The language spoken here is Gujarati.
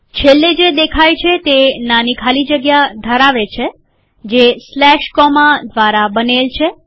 છેલ્લે જે દેખાય છે તે નાની ખાલી જગ્યા ધરાવે છે જે સ્લેશ કોમા દ્વારા બનેલ છે